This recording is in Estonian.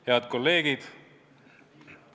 Head kolleegid!